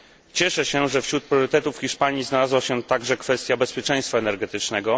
Cieszę się, że wśród priorytetów Hiszpanii znalazła się także kwestia bezpieczeństwa energetycznego.